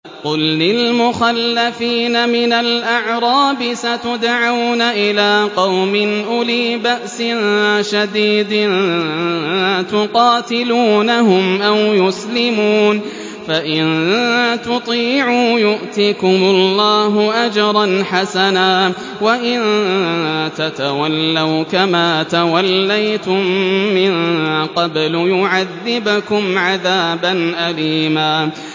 قُل لِّلْمُخَلَّفِينَ مِنَ الْأَعْرَابِ سَتُدْعَوْنَ إِلَىٰ قَوْمٍ أُولِي بَأْسٍ شَدِيدٍ تُقَاتِلُونَهُمْ أَوْ يُسْلِمُونَ ۖ فَإِن تُطِيعُوا يُؤْتِكُمُ اللَّهُ أَجْرًا حَسَنًا ۖ وَإِن تَتَوَلَّوْا كَمَا تَوَلَّيْتُم مِّن قَبْلُ يُعَذِّبْكُمْ عَذَابًا أَلِيمًا